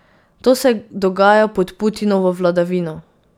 To se dogaja pod Putinovo vladavino.